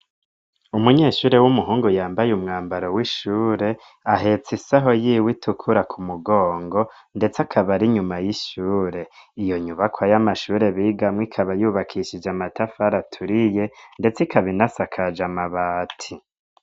Umunyeshure w'umuhungu yambaye umwambaro w'ishure ,ahetse isaho yiwe itukura ku mugongo ndetse akaba ari nyuma y'ishure, iyo nyubakwa y'amashure bigamwo ikaba yubakishije amatafara aturiye ndetse ikabinasakaje amabati.